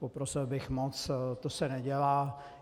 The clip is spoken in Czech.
Poprosil bych moc, to se nedělá.